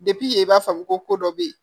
i b'a faamu ko dɔ be ye